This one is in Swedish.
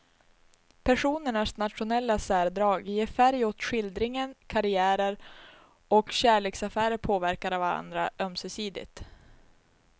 Personernas nationella särdrag ger färg åt skildringen, karriärer och kärleksaffärer påverkar varandra ömsesidigt.